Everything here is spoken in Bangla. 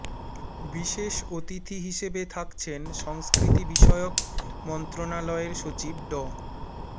বিশেষ অতিথি হিসেবে থাকছেন সংস্কৃতি বিষয়ক মন্ত্রণালয়ের সচিব ড